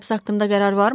Həbs haqqında qərar varmı?